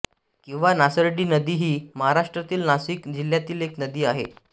किंवा नासर्डी नदी ही महाराष्ट्रातील नासिक जिल्ह्यातील एक नदी आहे